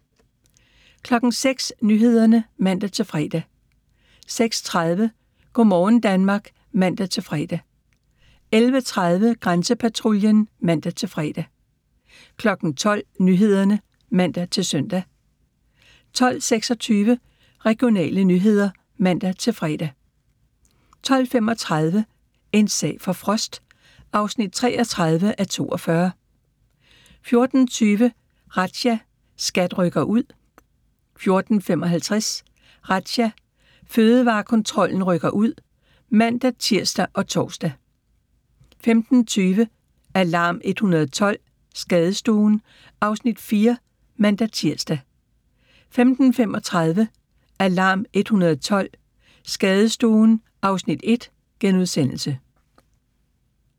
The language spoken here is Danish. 06:00: Nyhederne (man-fre) 06:30: Go' morgen Danmark (man-fre) 11:30: Grænsepatruljen (man-fre) 12:00: Nyhederne (man-søn) 12:26: Regionale nyheder (man-fre) 12:35: En sag for Frost (33:42) 14:20: Razzia – SKAT rykker ud 14:55: Razzia – Fødevarekontrollen rykker ud (man-tir og tor) 15:20: Alarm 112 – Skadestuen (Afs. 4)(man-tir) 15:35: Alarm 112 – Skadestuen (Afs. 1)*